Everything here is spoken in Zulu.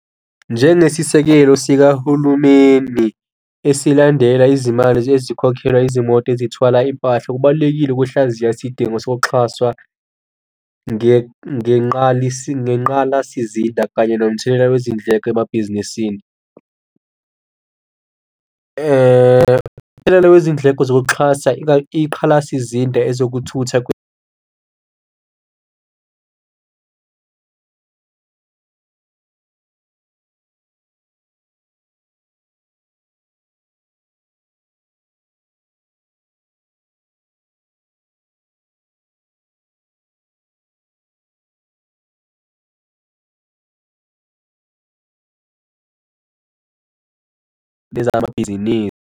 Njengesisekelo sikahulumeni esilandela izimali ezikhokhela izimoto ezithwala impahla, kubalulekile ukuhlaziya isidingo sokuxhaswa ngenqalasizinda kanye nomthelela wezindleko emabhizinisini. Imithelela wezindleko zokuxhasa iqhalasizinda ezokuthutha amabhizinisi.